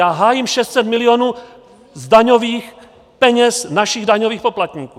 Já hájím 600 milionů z daňových peněz našich daňových poplatníků.